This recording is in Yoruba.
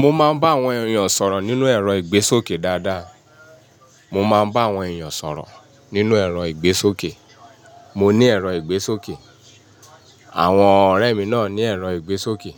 Mo máa ń bá àwọn èèyàn sọ̀rọ̀ nínú ẹ̀rọ ìgbésókè dáadáa. Mo máa ń bá àwọn èèyàn sọ̀rọ̀ nínú ẹ̀rọ ìgbésókè. Mo ní ẹ̀rọ ìgbésókè. Àwọn ọ̀rẹ́ mi náà ní ẹ̀rọ ìgbésókè.